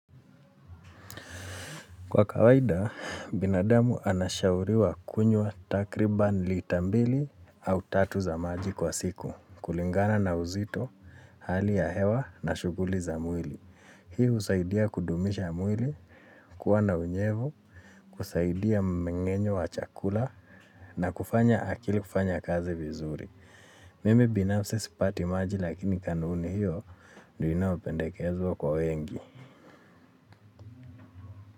Kwa kawaida, binadamu anashauriwa kunywa takriban lita mbili au tatu za maji kwa siku. Kulingana na uzito hali ya hewa na shuguli za mwili. Hii husaidia kudumisha mwili, kuwa na unyevu, kusaidia mmengenyo wa chakula na kufanya akili kufanya kazi vizuri. Mimi binafsi sipati maji lakini kanuni hiyo ndiyo inayopendekezwa kwa wengi.